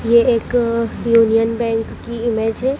ये एक Union Bank की इमेज है।